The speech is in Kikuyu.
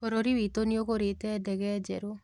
Bũrũri witũ nĩũgũrĩte ndege njerũ